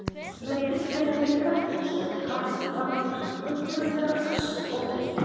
Með illilegri grettu steig kappinn fram úr hringnum til að gera kastið ógilt.